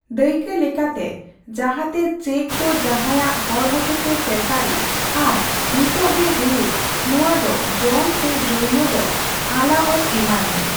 ᱫᱟᱹᱭᱠᱟᱹ ᱞᱮᱠᱟᱛᱮ, ᱡᱟᱦᱟᱸᱛᱮ ᱪᱮᱠ ᱫᱚ ᱡᱟᱦᱟᱸᱭᱟᱜ ᱦᱚᱲ ᱦᱚᱛᱮᱛᱮ ᱥᱮᱥᱟᱨᱤ, ᱟᱨ ᱱᱤᱛᱚᱜ ᱜᱮ ᱦᱩᱭᱩᱜ, ᱱᱚᱣᱟ ᱫᱚ ᱡᱚᱱ ᱥᱮ ᱡᱮᱱ ᱫᱚ ᱟᱞᱟᱚᱢ ᱮᱢᱟᱭᱢᱮ ᱾